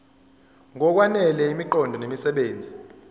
ngokwanele imiqondo nemisebenzi